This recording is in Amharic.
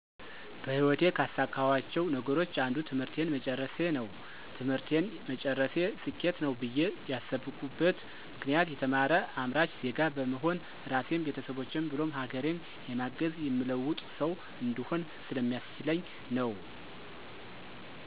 በህይወቴ ካሳካኋቸው ነገሮች አንዱ ትምህርቴን መጨረሴ ነው። ትምህርቴን መጨረሴ ስኬት ነው ብዬ ያስብኩበት ምክንያት የተማረ አምራች ዜጋ በመሆን ራሴን፣ ቤተሰቦቼን ብሎም ሀገሬን የማግዝ፣ የምለውጥ ሠው እንድሆን ስለሚያስችለኝ ነው።